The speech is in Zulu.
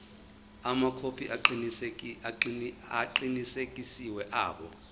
amakhophi aqinisekisiwe abo